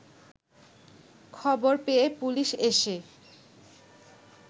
খবর পেয়েপুলিশ এসে